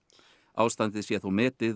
ástandið sé þó metið